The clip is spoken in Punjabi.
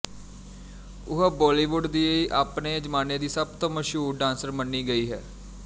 ਉਹ ਬਾਲੀਵੁੱਡ ਦੀ ਆਪਣੇ ਜ਼ਮਾਨੇ ਦੀ ਸਭ ਤੋਂ ਮਸ਼ਹੂਰ ਡਾਂਸਰ ਮੰਨੀ ਗਈ ਹੈ